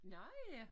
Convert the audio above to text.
Nårh ja